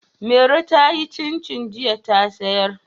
Mairo ta yi cincin jiya ta siyar.